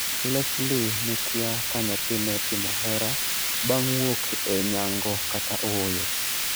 Lesley ne kia ka nyathine otimo hera bang' wuok e nyango kata ooyo.